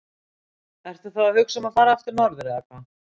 Ertu þá að hugsa um að fara aftur norður eða hvað?